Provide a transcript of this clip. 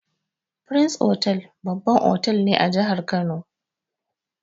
Firins otal babban otal ne a jahar kano